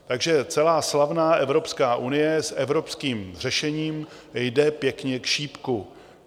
Takže celá slavná Evropská unie s evropským řešením jde pěkně k šípku.